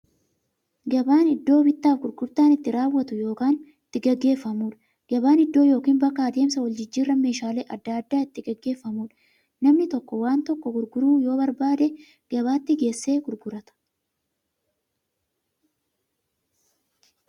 Gabaan iddoo bittaaf gurgurtaan itti raawwatu yookiin itti gaggeeffamuudha. Gabaan iddoo yookiin bakka adeemsa waljijjiiraan meeshaalee adda addaa itti gaggeeffamuudha. Namni tokko waan tokko gurguruu yoo barbaade, gabaatti geessee gurgurata.